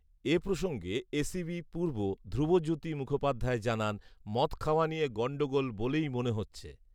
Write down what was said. এ প্রসঙ্গে এসিপি পূর্ব ধ্রুবজ্যোতি মুখোপাধ্যায় জানান, “মদ খাওয়া নিয়ে গন্ডগোল বলেই মনে হচ্ছে"